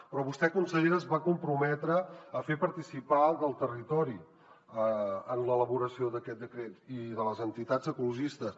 però vostè consellera es va comprometre a fer participar el territori en l’elaboració d’aquest decret i les entitats ecologistes